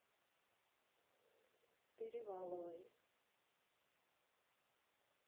переваловой